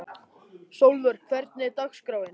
Sólvör, hvernig er dagskráin?